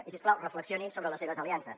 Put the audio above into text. i si us plau reflexionin sobre les seves aliances